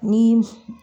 Ni f